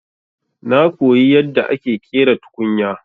Na koyi yadda ake ƙera tukunya.